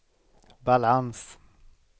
balans